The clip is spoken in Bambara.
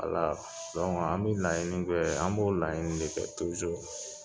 Ala dɔnke an be laɲini kɛ an b'o laɲini de kɛ tujuru